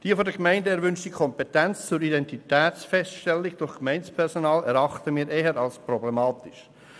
Die von der Gemeinde erwünschte Kompetenz zur Identitätsfeststellung durch Gemeindepersonal erachten wir eher als problematisch.